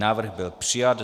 Návrh byl přijat.